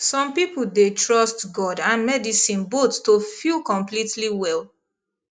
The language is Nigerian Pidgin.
some people dey trust god and medicine both to feel completely well